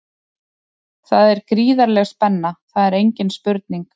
Það er gríðarleg spenna, það er engin spurning.